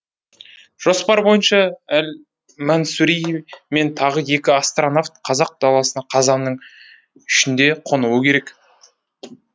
жоспар бойынша әл мансури мен тағы екі астронавт қазақ даласына қазанның үшінде қонуы керек